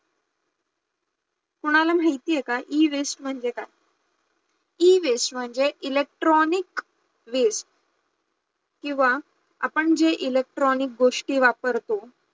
कोणाला माहिती आहे का Ewaste म्हणजे काय, Ewaste म्हणजे electronic waste किंवा आपण जे electronic गोष्टी वापरतो